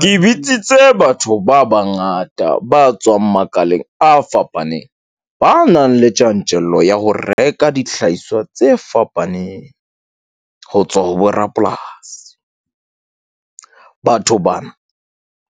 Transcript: Ke le bitsitse batho ba bangata ba tswang makaleng a fapaneng. Ba nang le tjantjello ya ho reka dihlahiswa tse fapaneng ho tswa ho borapolasi. Batho bana